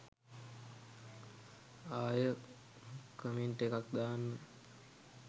ආය කමෙන්ට් එකක් දාන්නම්.